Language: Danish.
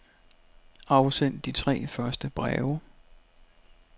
Afsend de tre første breve.